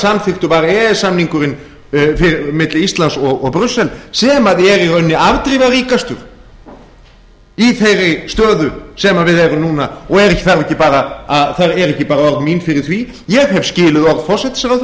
samþykktur var e e s samningurinn milli íslands og brussel sem er í rauninni afdrifaríkastur í þeirri stöðu sem við erum í núna og það eru ekki bara orð mín fyrir því ég hef skilið orð forsætisráðherra